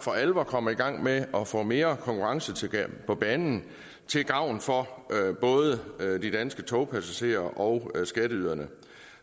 for alvor kommer i gang med at få mere konkurrence på banen til gavn for både de danske togpassagerer og skatteyderne